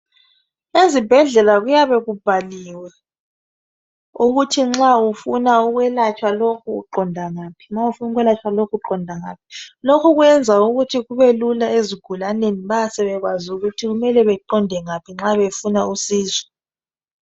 Ezibhedlela kuyabe kubhaliwe ukuthi nxa ufuna ukwelatshwa lokhu uqonda ngaphi ,ma ufuna ukwelathswa lokhu uqonda ngaphi. Loku kwenza ukuthi kubelula ezigulaneni bayabe sebekwazi ukuthi kumele beqonde ngaphi nxa befuna usizo.